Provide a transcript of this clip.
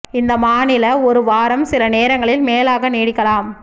இந்த மாநில ஒரு வாரம் சில நேரங்களில் மேலாக நீடிக்கலாம்